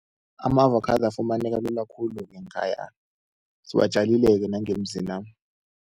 Ama-avakhado afumaneka lula-ke khulu ngeenkhaya, siwatjalile-ke nangemzina.